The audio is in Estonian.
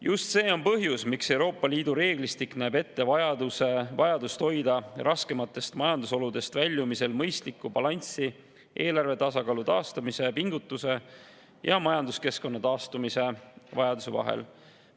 Just see on põhjus, miks Euroopa Liidu reeglistik näeb ette vajadust hoida raskematest majandusoludest väljumisel mõistlikku balanssi eelarve tasakaalu taastamise pingutuse ja majanduskeskkonna taastumise vajaduse vahel.